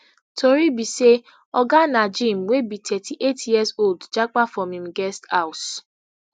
tori be say oga najeem wey be thirty-eight years old japa from im guest house